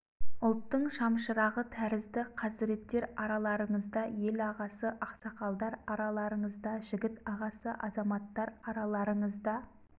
ұлттың шамшырағы тәрізді қазіреттер араларыңызда ел ағасы ақсақалдар араларыңызда жігіт ағасы азаматтар араларыңызда